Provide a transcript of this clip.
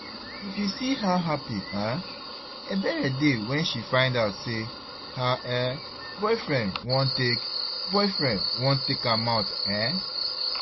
If you see how happy um Ebere dey when she find out say her um boyfriend wan take boyfriend wan take am out eh